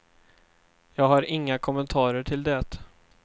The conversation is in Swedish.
Jag har inga kommentarer till det.